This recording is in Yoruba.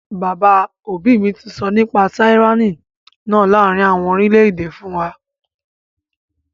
Bàbá òbí mi sọ nípa tyranny náà láàrin àwọn orílẹ̀-èdè fún wa